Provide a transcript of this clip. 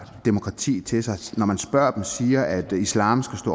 demokrati til sig og som når man spørger dem siger at islam skal